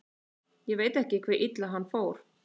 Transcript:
Ég veit ekki hve illa hann fór.